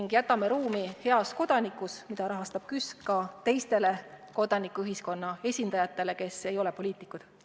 Ja jätame Heas Kodanikus, mida rahastab KÜSK, ruumi ka teistele kodanikuühiskonna esindajatele, kes ei ole poliitikud.